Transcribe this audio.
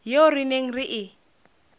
eo re neng re e